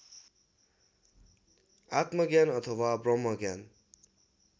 आत्मज्ञान अथवा ब्रम्हज्ञान